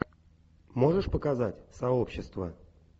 можешь показать сообщество